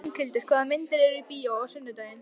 Inghildur, hvaða myndir eru í bíó á sunnudaginn?